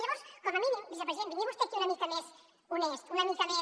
llavors com a mínim vicepresident vingui vostè aquí una mica més honest una mica més